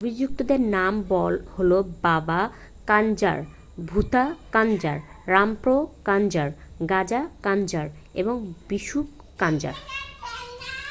অভিযুক্তদের নাম হল বাবা কাঞ্জার ভুথা কাঞ্জার রামপ্রো কাঞ্জার গাজা কাঞ্জার এবং বিষ্ণু কাঞ্জার